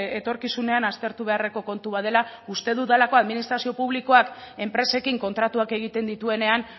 etorkizunean aztertu beharreko kontu bat dela uste dudalako administrazio publikoak enpresekin kontratuak egiten dituenean